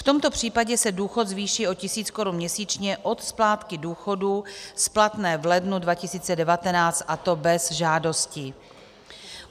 V tomto případě se důchod zvýší o tisíc korun měsíčně od splátky důchodu splatné v lednu 2019, a to bez žádosti.